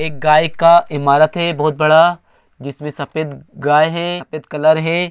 एक गाय का इमारत है। बहुत बड़ा जिसमे सफ़ेद गाय है। सफ़ेद कलर है।